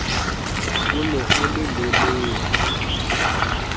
o ne o le lelele